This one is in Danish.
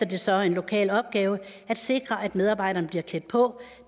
det så en lokal opgave at sikre at medarbejderne bliver klædt på